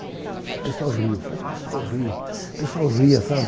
O pessoal riu, mas o pessoal riu, o pessoal ria, sabe?